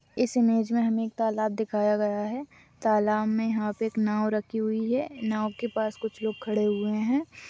इस इमेज में हम एक तालाब दिखाया गया है तालाब में आप एक नाव रखी हुई है नाव के पास कुछ लोग खड़े हुए है।